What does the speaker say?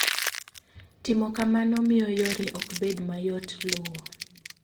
Timo kamano miyo yore ok bed mayot luwo.